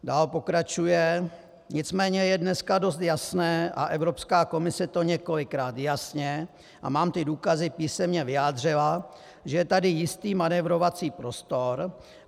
Dál pokračuje: Nicméně je dneska dost jasné, a Evropská komise to několikrát jasně, a mám ty důkazy, písemně vyjádřila, že je tady jistý manévrovací prostor.